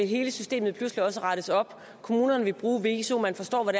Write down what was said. hele systemet kommunerne vil bruge viso og man forstår hvad